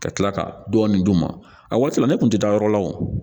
Ka tila ka dɔɔni d'u ma a waati la ne kun tɛ taa yɔrɔ la wo